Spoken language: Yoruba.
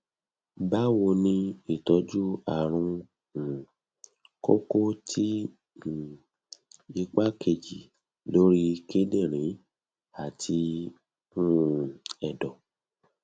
bawoni itoju arun um koko ti um ipa keji lori kidirin ati um edo